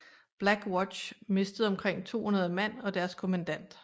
Black Watch mistede omkring 200 mand og deres kommandant